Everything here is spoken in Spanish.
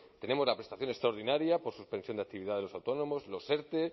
tenemos la prestación extraordinaria por suspensión de actividad de los autónomos los erte